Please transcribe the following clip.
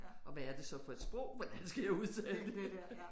Og hvad er det så for et sprog hvordan skal jeg udtale det